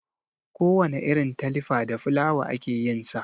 Kowana irin talifa da fulawa ake yin sa.